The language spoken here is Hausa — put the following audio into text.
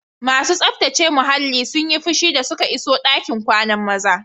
Masu tsaftace muhallin sun yi fushi da suka iso ɗakin kwanan mazan.